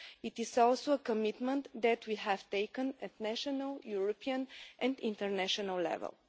This is also a commitment that we have made at national, European and international level.